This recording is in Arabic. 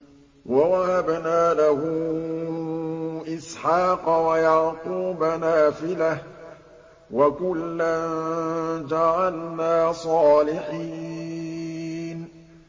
وَوَهَبْنَا لَهُ إِسْحَاقَ وَيَعْقُوبَ نَافِلَةً ۖ وَكُلًّا جَعَلْنَا صَالِحِينَ